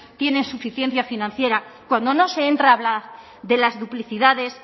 tienen suficiencia financiera cuando no se entra a hablar de las duplicidades